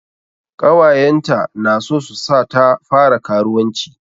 Ƙawayenta na so su sa ta fara karuwanci.